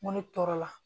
N ko ne tɔɔrɔ la